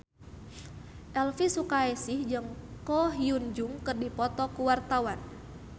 Elvy Sukaesih jeung Ko Hyun Jung keur dipoto ku wartawan